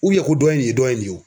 U yaku dɔ ye nin ye dɔ ye nin ye o